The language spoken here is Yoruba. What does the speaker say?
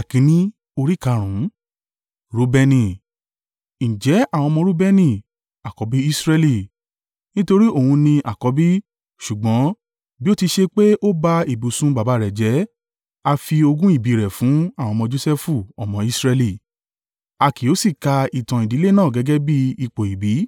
Ǹjẹ́ àwọn ọmọ Reubeni, àkọ́bí Israẹli. (Nítorí òun ni àkọ́bí; ṣùgbọ́n, bí ó ti ṣe pé ó ba ibùsùn baba rẹ̀ jẹ́, a fi ogún ìbí rẹ̀ fún àwọn ọmọ Josẹfu ọmọ Israẹli: a kì yóò sì ka ìtàn ìdílé náà gẹ́gẹ́ bí ipò ìbí.